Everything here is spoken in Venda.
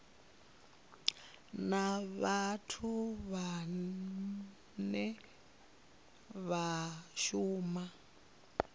na vhathu vhane vha shuma